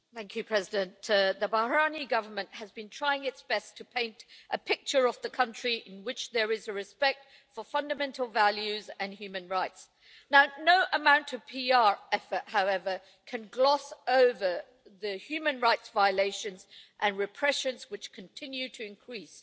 Mr President, the Bahraini Government has been trying its best to paint a picture of the country in which there is respect for fundamental values and human rights, but no amount of PR effort can gloss over the human rights violations and the repression, which continue to increase.